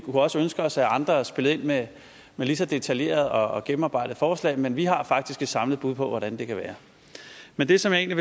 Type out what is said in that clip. også ønske os at andre spillede ind med ligeså detaljerede og gennemarbejdede forslag men vi har faktisk et samlet bud på hvordan det kan være men det som jeg